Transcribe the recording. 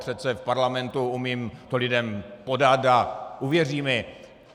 Přece v Parlamentu umím to lidem podat a uvěří mi.